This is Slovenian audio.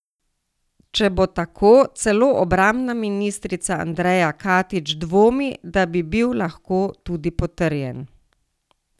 Če bo tako, celo obrambna ministrica Andreja Katič dvomi, da bi bil lahko tudi potrjen.